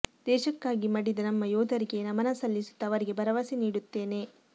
ದೇಶಕ್ಕಾಗಿ ಮಡಿದ ನಮ್ಮ ಯೋಧರಿಗೆ ನಮನ ಸಲ್ಲಿಸುತ್ತಾ ಅವರಿಗೆ ಭರವಸೆ ನೀಡುತ್ತೇನೆ